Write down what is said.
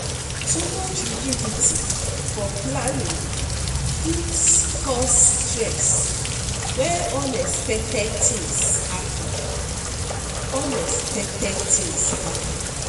Too much rigidity for planning fit cause stress when expected things happen.